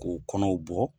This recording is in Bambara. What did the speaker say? K'o kɔnɔw bɔ